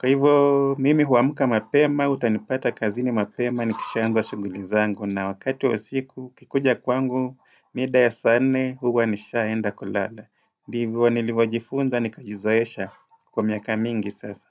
Kwa hivyo, mimi huamka mapema, utanipata kazini mapema, nikishaanza shughuli zangu, na wakati wa siku ukikuja kwangu, mida ya saa nne huwa nishaenda kulala. Ndivyo nilivyojifunza nikajizoesha kwa miaka mingi sasa.